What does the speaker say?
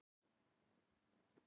Merkigarði